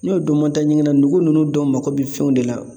N'o dun ma taa ɲɛgɛn na nugu nunnu dɔw mako bi fɛnw de la.